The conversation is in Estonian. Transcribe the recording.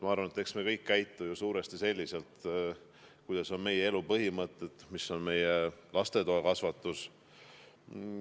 Ma arvan, et eks me kõik käitu ju suuresti vastavalt sellele, millised on meie elu põhimõtted, milline on meie lastetoa kasvatus.